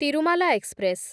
Tirumala express